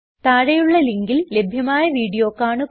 താഴെയുള്ള ലിങ്കിൽ ലഭ്യമായ വീഡിയോ കാണുക